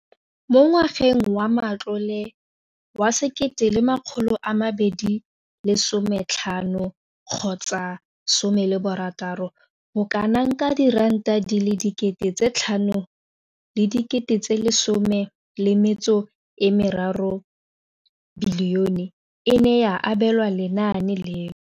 Mo ngwageng wa matlole wa 2015,16, bokanaka R5 703 bilione e ne ya abelwa lenaane leno.